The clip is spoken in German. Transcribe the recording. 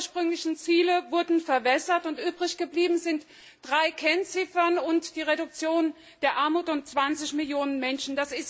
Die ursprünglichen Ziele wurden verwässert, und übrig geblieben sind drei Kennziffern und die Reduktion der Armut um zwanzig Millionen Menschen.